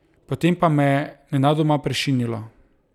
Potem pa me je nenadoma prešinilo!